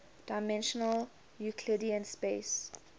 dimensional euclidean space